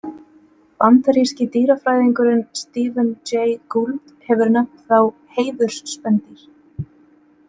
Bandaríski dýrafræðingurinn Stephen Jay Gould hefur nefnt þá „heiðursspendýr“.